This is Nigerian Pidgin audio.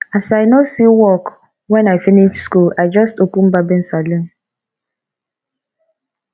as i no see work wen i finish skool i just open barbing saloon